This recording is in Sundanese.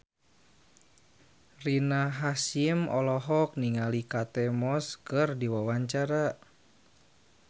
Rina Hasyim olohok ningali Kate Moss keur diwawancara